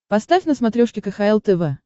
поставь на смотрешке кхл тв